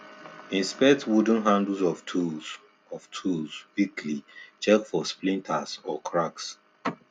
inspect wooden handles of tools of tools weekly check for splinters or cracks